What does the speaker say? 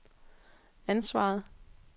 ansvaret